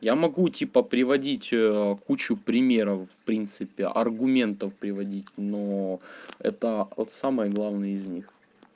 я могу типа приводить кучу примеров в принципе аргументов приводить но это от самое главное из них